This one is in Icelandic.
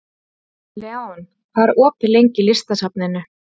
Leon, hvað er opið lengi í Listasafninu?